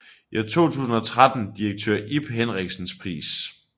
I 2013 Direktør Ib Henriksens Pris